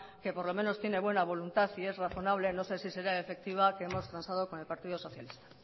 que por lo menos tiene buena voluntad y es razonable no sé si será efectiva que hemos transado con el partido socialista